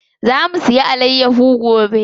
Za mu siya alayyaho gobe.